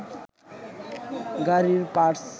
গাড়ির পার্টস